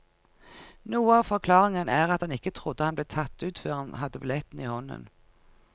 Noe av forklaringen er at han ikke trodde han ble tatt ut før han hadde billetten i hånden.